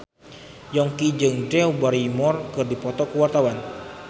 Yongki jeung Drew Barrymore keur dipoto ku wartawan